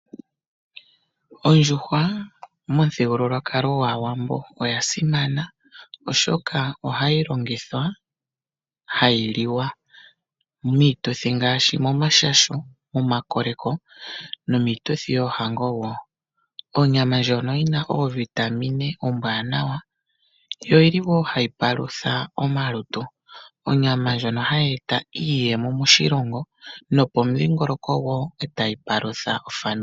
Ondjuhwa momuthigululwakalo gwAawambo oya simana, oshoka ohayi longithwa, hayi liwa miituthi ngaashi omomashasho, momakoleko nomiituthi yoohango wo. Onyama ndjono yina oovitamine ombwaanawa, yo oyili wo hayi palutha omalutu. Onyama ndjono hayi e ta iiyemo moshilongo nopomudhingoloko e ta yi palutha ofamili.